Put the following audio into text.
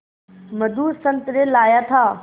मधु संतरे लाया था